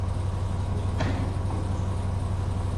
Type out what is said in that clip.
сундук предков покажи